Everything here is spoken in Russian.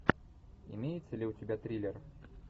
имеется ли у тебя триллер